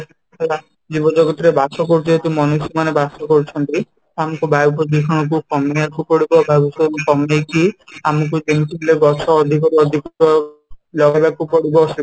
ହେଲା, ଜୀବ ଜଗତ ରେ ବାସ କରୁଥିବା ଯଦି ମନୁଷ୍ୟ ମାନେ ବାସ କରୁଛନ୍ତି ତ ଆମକୁ ବାୟୁ ପ୍ରଦୂଷଣ କୁ କମେଇବାକୁ ପଡିବ ବାୟୂପ୍ରଦୂଷଣ କମେଇକି ଆମକୁ କେମିତି ଗଛ ଅଧିକ ରୁ ଅଧିକ ଲଗେଇବାକୁ ପଡିବ